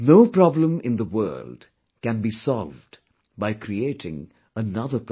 No problem in the world can be solved by creating another problem